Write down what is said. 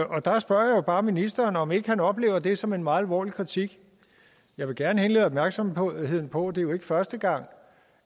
der spørger jeg bare ministeren om ikke han oplever det som en meget alvorlig kritik jeg vil gerne henlede opmærksomheden på at det jo ikke er første gang